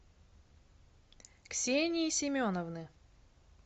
ксении семеновны